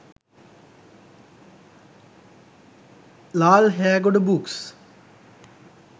lal hegoda books